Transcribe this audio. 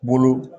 Bolo